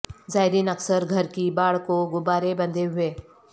زائرین اکثر گھر کی باڑ کو غبارے بندھے ہوئے